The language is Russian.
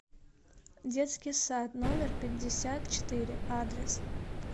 детский сад номер пятьдесят четыре адрес